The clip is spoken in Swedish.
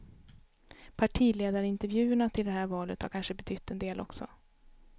Partiledarintervjuerna till det här valet har kanske betytt en del också.